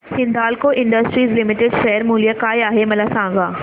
Hindalco industries limited share मूल्य काय आहे मला सांगा